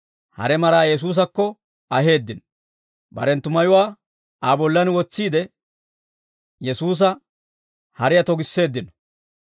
hare maraa Yesuusakko aheeddino; barenttu mayuwaa Aa bollan wotsiide Yesuusa hariyaa togisseeddino.